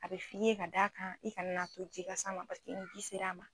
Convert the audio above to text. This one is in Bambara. A bɛ f' i ye ka da kan i ka na n'a to ji ka sa ma paseke ni ji sera a ma.